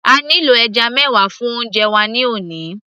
a nílò ẹja mẹwa fún oúnjẹ wa ní òní